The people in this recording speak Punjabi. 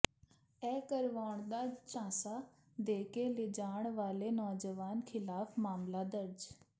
ਵਿਆਹ ਕਰਵਾਉਣ ਦਾ ਝਾਂਸਾ ਦੇ ਕੇ ਲਿਜਾਣ ਵਾਲੇ ਨੌਜਵਾਨ ਖ਼ਿਲਾਫ਼ ਮਾਮਲਾ ਦਰਜ